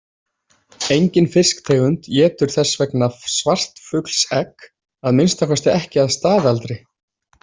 Engin fisktegund étur þess vegna svartfuglsegg, að minnsta kosti ekki að staðaldri.